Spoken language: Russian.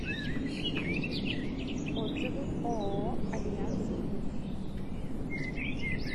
отзывы ооо альянс плюс